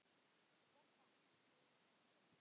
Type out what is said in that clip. BOGGA: Sumir á sjó!